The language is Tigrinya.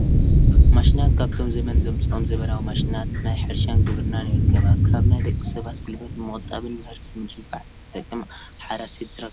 ማሽናት፡- ካብቶም ዘመን ዘምፅኦም ዘመናዊ ማሽናት ናይ ሕርሻን ግብርናን ይርከባ፡፡ ካብ ናይ ደቂ ሰባት ጉልበት ንምቑጣብን ምህርቲ ንምድንፋዕ እትጠቅም ኣራሲት ትራክተር ማሽን እያ፡፡